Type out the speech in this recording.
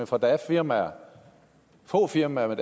for der er firmaer få firmaer